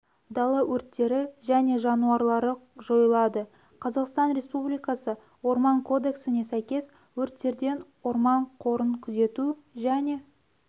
дала өрттері және жанулары жойылады қазақстан республикасы орман кодексіне сәйкес өрттерден орман қорын күзету және